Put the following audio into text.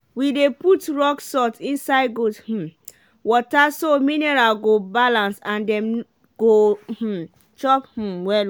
we dey put rock salt inside goat um water so mineral go balance and dem go um chop um well well.